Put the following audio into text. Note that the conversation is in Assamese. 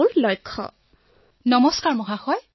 অপৰ্ণাঃ নমস্কাৰ মহোদয়